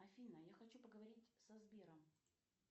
афина я хочу поговорить со сбером